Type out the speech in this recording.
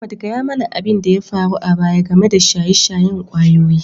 Ahmad, gaya mana abin da ya faru a baya game da shaye-shayen ƙwayoyi